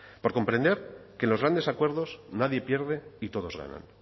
por comprender que en los grandes acuerdos nadie pierde y todos ganan